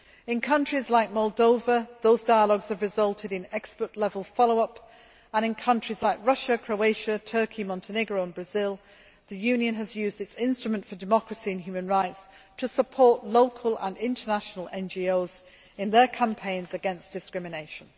In countries like Moldova, those dialogues have resulted in expert level follow up, and in countries like Russia, Croatia, Turkey, Montenegro and Brazil the Union has used its instrument for democracy and human rights to support local and international NGOs in their campaigns against discrimination.